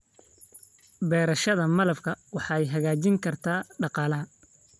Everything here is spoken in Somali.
Beerashada malabka waxay hagaajin kartaa dhaqaalaha.